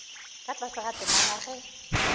ka tlase ga temana ge